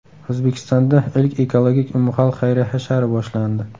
O‘zbekistonda ilk ekologik umumxalq xayriya hashari boshlandi.